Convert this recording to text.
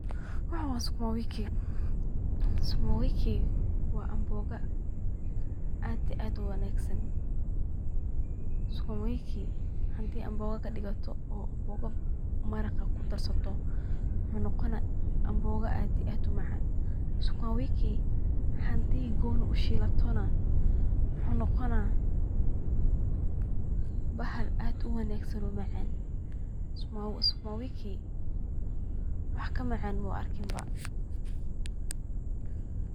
Waxan wa sukuma wiki wana mabiga aad iyo aad uwanagsan hadi aad amboga kadigato oo cuntada kuadarsato aad ayu umacana hda sukuma wiki goniii ukarsatana wax kamacan maba arkin.